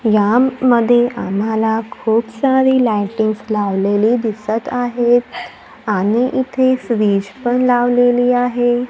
यामध्ये आम्हाला खूप सारी लाइटिंग्स लावलेली दिसत आहेत आणि इथे फ्रिज पण लावलेली आहे.